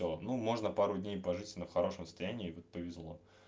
ну можно пару дней пожить в хорошем состоянии вот повезло